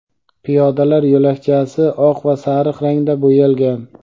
piyodalar yo‘lakchasi oq va sariq rangda bo‘yalgan.